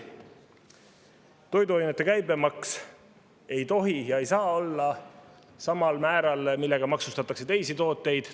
Toiduainete käibemaks ei tohi olla sama määraga, millega maksustatakse teisi tooteid.